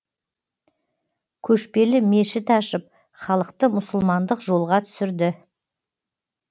көшпелі мешіт ашып халықты мұсылмандық жолға түсірді